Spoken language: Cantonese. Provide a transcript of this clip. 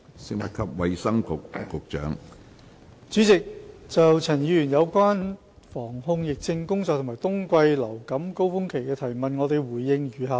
主席，就陳沛然議員有關防控疫症工作和冬季流感高峰期的質詢，我回應如下。